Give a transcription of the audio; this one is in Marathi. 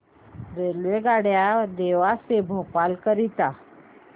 रेल्वेगाड्या देवास ते भोपाळ करीता